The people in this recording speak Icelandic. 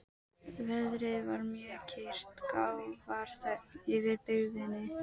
Veðrið var mjög kyrrt og grafarþögn yfir byggðinni.